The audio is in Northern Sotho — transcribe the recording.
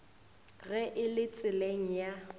ge e le tseleng ya